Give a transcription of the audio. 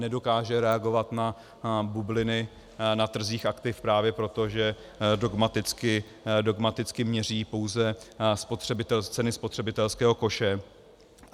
Nedokáže reagovat na bubliny na trzích aktiv právě proto, že dogmaticky měří pouze ceny spotřebitelského koše.